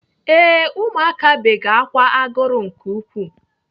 Ee, ụmụaka bege ákwà agụrụ nke ukwuu.